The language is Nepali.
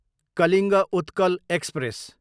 कलिङ्ग उत्कल एक्सप्रेस